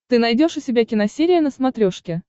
ты найдешь у себя киносерия на смотрешке